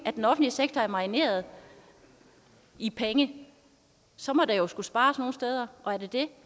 at den offentlige sektor er marineret i penge så må der skulle spares nogle steder er det det